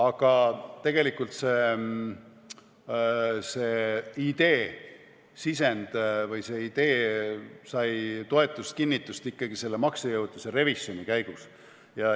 Aga tegelikult see idee sisend või idee sai toetust ja kinnitust ikkagi selle maksejõuetuse revisjoni käigus.